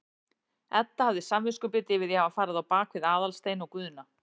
Edda hafði samviskubit yfir því að hafa farið á bak við Aðalstein og Guðna.